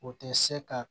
O tɛ se ka